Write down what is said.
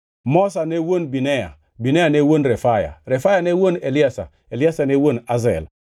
Moza ne wuon Binea, Binea ne wuon Refaya, Refaya ne wuon Eliasa, Eliasa ne wuon Azel.